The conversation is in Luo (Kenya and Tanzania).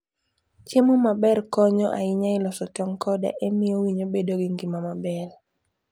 Chiemo maber konyo ahinya e loso tong' koda e miyo winyo obed gi ngima maber.